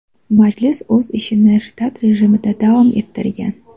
Majlis o‘z ishini shtat rejimida davom ettirgan.